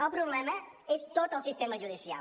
el problema és tot el sistema judicial